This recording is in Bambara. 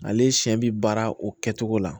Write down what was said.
Ale siɲɛ bi baara o kɛcogo la